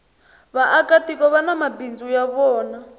vaaka tiko vani mabindzu ya vona